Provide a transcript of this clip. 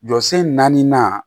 Jɔsen naaninan